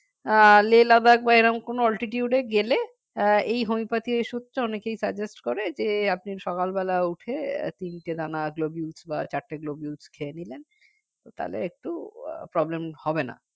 আহ Lehladakh বা এরকম কোন altitude গেলে আহ এই homeopathic ওষুধটা অনেকেই suggest করে যে আপনি সকালবেলা উঠে তিনটে দানা globule বা চারটে globule খেয়ে নিলেন তাহলে একটু আহ problem হবে না